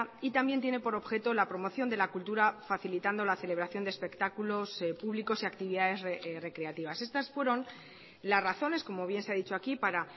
y también tiene por objeto la promoción de la cultura facilitando la celebración de espectáculos públicos y actividades recreativas estas fueron las razones como bien se ha dicho aquí para